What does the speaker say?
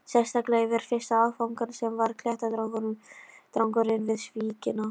Sérstaklega yfir fyrsta áfangann, sem var klettadrangurinn við víkina.